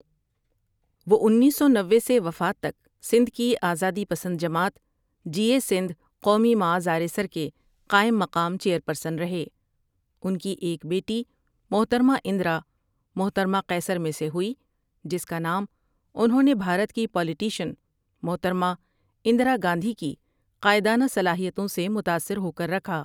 وہ انیس سو نوے سے وفات تک سندھ کی آزادی پسند جماعت جیٸے سندھ قومی معاذ آریسر کے قاٸم مقام چیٸرپرسن رھے انکی ایک بیٹی محترمه اندرا محترمہ قیصر میں سے ھوٸی جسکا نام انھوں نے بھارت کی پالیٹشن محترمہ اندرا گاندھی کی قاٸدانہ صلاحیتوں سے متاثر ھوکر رکھا ۔